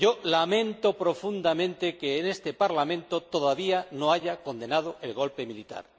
Lamento profundamente que este Parlamento todavía no haya condenado el golpe militar.